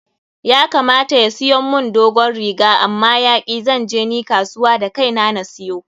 Ya kamata ya siyon mun dogon riga amma ya ki,. Zan je ni kasuwa da kai na na siyo.